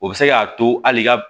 O bɛ se k'a to hali i ka